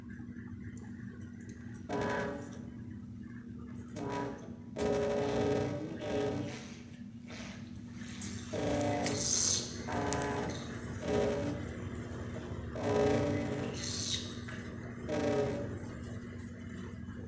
Hvað olli þessari fólsku?